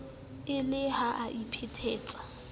e le ha a iphetetsa